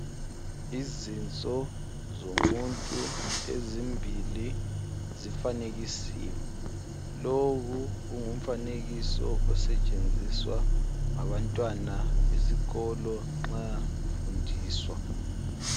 Izinso zomuntu ezimbili zifanekisiwe. Lowu kungumfanekiso osetshenziswa ngabantwana besikolo nxa befundiswa.